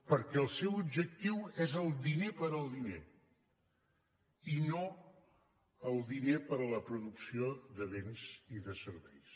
perquè el seu objectiu és el diner pel diner i no el diner per la producció de béns i de serveis